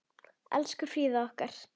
Elsku Fríða okkar.